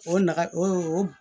O nafa o